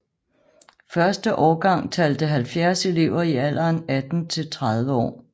Første årgang talte 70 elever i alderen 18 til 30 år